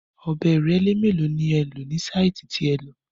Ọ̀bẹ ìrẹ́lé mélòó ni ẹ lò ní sáìtì tí ẹ lọ?